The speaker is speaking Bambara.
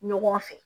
Ɲɔgɔn fɛ